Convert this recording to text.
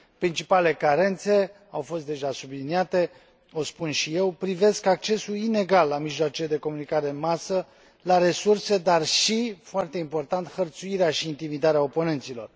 Principalele carențe au fost deja subliniate, o spun și eu, privesc accesul inegal la mijloacele de comunicare în masă, la resurse, dar și, foarte important, hărțuirea și intimidarea oponenților.